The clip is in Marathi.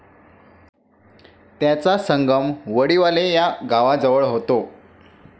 त्याचा संगम वडीवाले या गावाजवळ होतो.